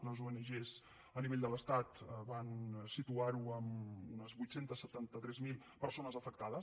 les ong a nivell de l’estat van situarho en unes vuit cents i setanta tres mil persones afectades